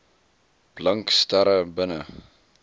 blink sterre binne